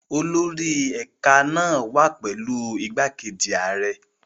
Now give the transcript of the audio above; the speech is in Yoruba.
Olórí ẹ̀ka náà wà pẹ̀lú igbákejì ààrẹ.